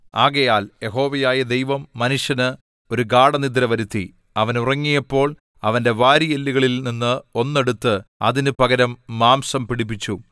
ആകയാൽ യഹോവയായ ദൈവം മനുഷ്യന് ഒരു ഗാഢനിദ്ര വരുത്തി അവൻ ഉറങ്ങിയപ്പോൾ അവന്റെ വാരിയെല്ലുകളിൽ ഒന്ന് എടുത്ത് അതിന് പകരം മാംസം പിടിപ്പിച്ചു